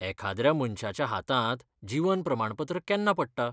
एखाद्र्या मनश्याच्या हातांत जीवन प्रमाणपत्र केन्ना पडटा?